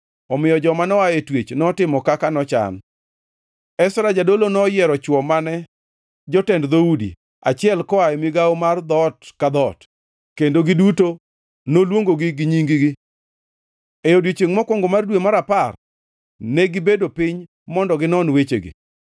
Omiyo joma noa e twech notimo kaka nochan. Ezra jadolo noyiero chwo mane jotend dhoudi, achiel koa e migawo mar dhoot ka dhoot, kendo giduto noluongogi gi nying-gi. E odiechiengʼ mokwongo mar dwe mar apar negibedo piny mondo ginon wechegi,